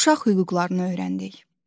Uşaq hüquqlarını öyrəndik.